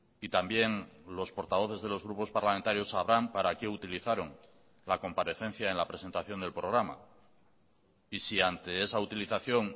y también los portavoces de los grupos parlamentarios sabrán para qué utilizaron la comparecencia en la presentación del programa y si ante esa utilización